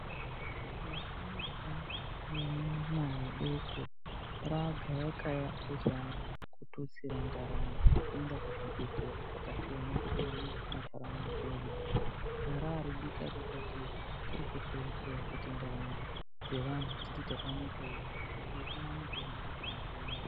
Vasharuka nevana vadoko raagayakaya kuzama kututsira ndaramo ngekuenda kuzvibhehleya zvakasiyana-siyana muntaraunda medu. Haraaridikadikake kuri kuhleya-hleya kuti ndaramo dzevantu dziti tatamukei ngekumwa mitombo kuti vapone.